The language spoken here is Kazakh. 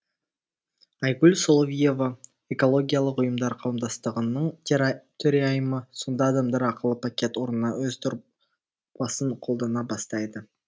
айгүл соловьева экологиялық ұйымдар қауымдастығының төрайымы сонда адамдар ақылы пакет орнына өз дорбасын қолдана бастайды